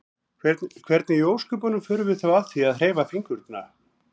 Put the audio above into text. Hvernig í ósköpunum förum við þá að því að hreyfa fingurna?